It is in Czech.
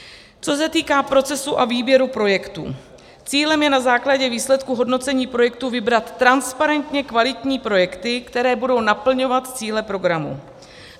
Co se týká procesu a výběru projektů, cílem je na základě výsledků hodnocení projektů vybrat transparentně kvalitní projekty, které budou naplňovat cíle programu.